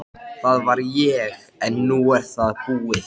Það er samt eitt sem mér finnst svo skrýtið.